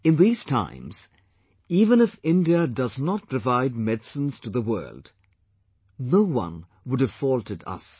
In these times, even if India does not provide medicines to the world, no one would have faulted us